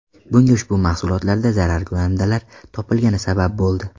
Bunga ushbu mahsulotlarda zararkunandalar topilgani sabab bo‘ldi.